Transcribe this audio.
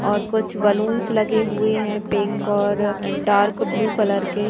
और कुछ बैलूंस लगे हुए हैं पिंक और डार्क ब्लू कलर के।